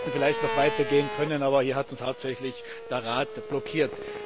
Wir hätten vielleicht noch weiter gehen können, aber hier hat uns hauptsächlich der Rat blockiert.